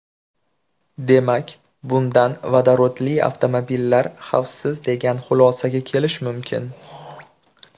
Demak, bundan vodorodli avtomobillar xavfsiz degan xulosaga kelish mumkin.